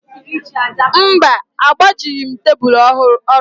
Mba, agbajighị m tebulu orụ gị